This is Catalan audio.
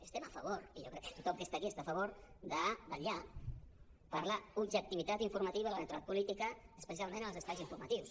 estem a favor i jo crec que tothom que està aquí està a favor de vetllar per l’objectivitat informativa i la neutralitat política especialment en els espais informatius